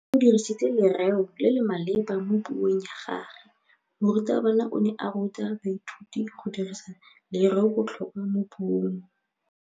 O dirisitse lerêo le le maleba mo puông ya gagwe. Morutabana o ne a ruta baithuti go dirisa lêrêôbotlhôkwa mo puong.